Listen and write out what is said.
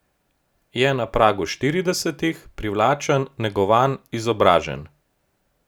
Je na pragu štiridesetih, privlačen, negovan, izobražen.